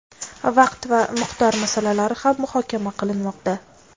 vaqt va miqdor masalalari ham muhokama qilinmoqda.